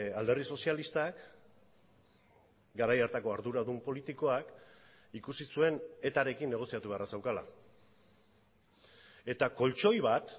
alderdi sozialistak garai hartako arduradun politikoak ikusi zuen etarekin negoziatu beharra zeukala eta koltxoi bat